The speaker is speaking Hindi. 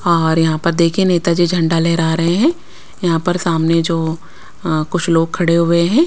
और यहां पर देखिए नेताजी झंडा लेहरा रहे हैं यहां पर सामने जो अ कुछ लोग खड़े हुए हैं।